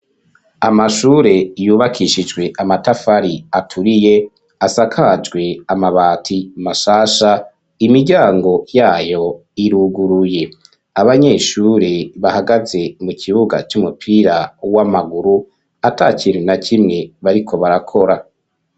Amashure, yubakishijwe amatafari, aturiye, asakajwe amabati, mashasha, imiryango yayo, iruguruye; abanyeshure, bahagaze mu kibuga, c'umupira w'amaguru, atakintu na kimwe, bariko barakora.